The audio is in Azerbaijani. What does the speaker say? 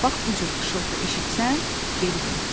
Bax bu cür xışıltı eşitsən, geri dön.